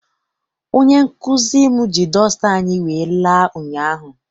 Onye nkụzi m ji dọsta anyị wee la ụnyaahụ.